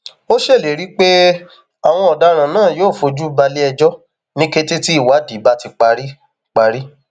ó ṣèlérí pé àwọn ọdaràn náà yóò fojú balẹẹjọ ní kété tí ìwádìí bá ti parí parí